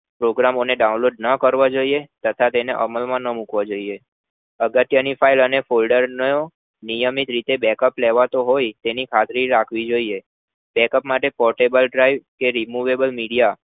છોકરાઓને download ના કરવું જોય્યે તથા તેને અમલ ના મુકવો જોય્યે અગર તેની file folder નું નિયમિત રીતે bacckup લેવાતો હોય તેની ખાતરી રાખવી જોય્યે portable drive removable media